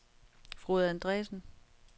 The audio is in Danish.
Frode Andreassen